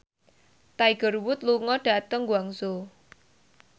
Tiger Wood lunga dhateng Guangzhou